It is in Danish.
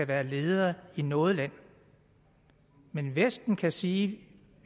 være leder i noget land men vesten kan sige